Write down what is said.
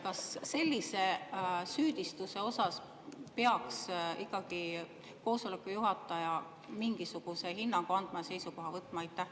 Kas sellisele süüdistusele peaks ikkagi koosoleku juhataja mingisuguse hinnangu andma ja selle suhtes seisukoha võtma?